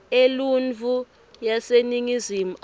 eluntfu yaseningizimu afrika